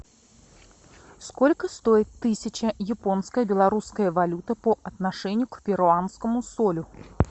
сколько стоит тысяча японская белорусская валюта по отношению к перуанскому солю